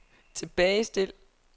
tilbagestil